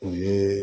U ye